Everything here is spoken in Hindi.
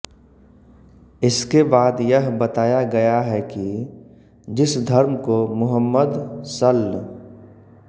इसके बाद यह बताया गया है कि जिस धर्म को मुहम्मद सल्ल